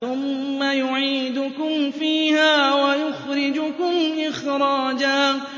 ثُمَّ يُعِيدُكُمْ فِيهَا وَيُخْرِجُكُمْ إِخْرَاجًا